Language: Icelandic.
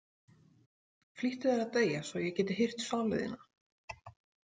Flýttu þér að deyja svo ég geti hirt sálu þína.